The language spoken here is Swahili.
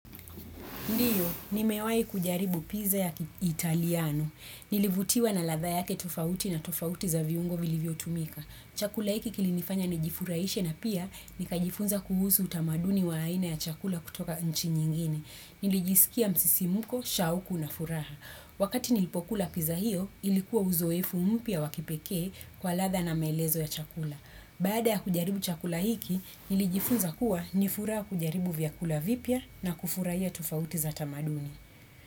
Ndiyo, nimewai kujaribu pizza ya italiano. Nilivutiwa na ladha yake tofauti na tofauti za viungo vilivyo tumika. Chakula hiki kilinifanya nijifuraishe na pia nika jifunza kuhusu utamaduni wa aina ya chakula kutoka nchi nyingine. Nilijisikia msisimuko, shauku na furaha. Wakati nilipokula pizza hiyo, ilikuwa uzoefu mpya wa kipekee kwa ladha na melezo ya chakula. Baada ya kujaribu chakula hiki, nilijifunza kuwa ni furaa kujaribu vyakula vipya na kufuraia tofauti za tamaduni.